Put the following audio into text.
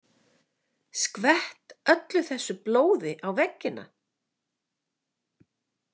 Skvett öllu þessu blóði á veggina?